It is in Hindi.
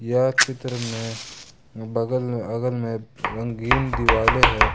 यह चित्र में बगल में अगल में रंगीन दीवाले है।